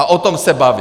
A o tom se bavím!